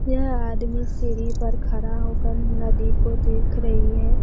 यह आदमी सीढ़ी पर खड़ा होकर नदी को देख रही है।